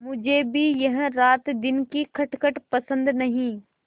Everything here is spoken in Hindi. मुझे भी यह रातदिन की खटखट पसंद नहीं